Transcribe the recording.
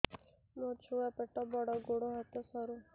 ମୋ ଛୁଆ ପେଟ ବଡ଼ ଗୋଡ଼ ହାତ ସରୁ